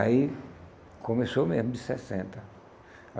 Aí começou mesmo de sessenta.